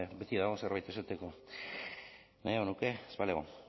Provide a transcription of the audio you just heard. beti dago zerbait esateko nahiago nuke ez balego